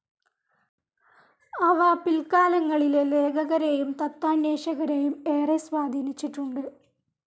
അവ പിൽക്കാലങ്ങളിലെ ലേഖകരേയും തത്ത്വാന്വേഷകരേയും ഏറെ സ്വാധീനിച്ചിട്ടുണ്ട്.